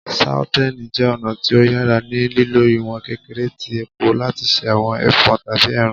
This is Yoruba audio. Sauteing jẹ ọna ti o yara ni lilo iwọn kekere ti epo lati ṣe awọn ẹfọ tabi ẹran